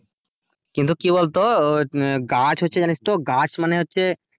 কিন্তু কি বলতো উম বলতো গাছ হচ্ছে জানিস তো গাছ মানে হচ্ছে,